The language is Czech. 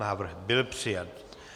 Návrh byl přijat.